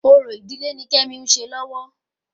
Orò ìdílé ni kemi ń ṣe lọ́wọ́